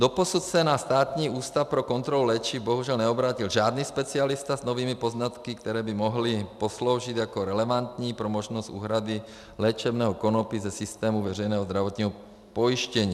Doposud se na Státní ústav pro kontrolu léčiv bohužel neobrátil žádný specialista s novými poznatky, které by mohly posloužit jako relevantní pro možnost úhrady léčebného konopí ze systému veřejného zdravotního pojištění.